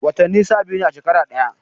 Watani sha biyu ne a shekara daya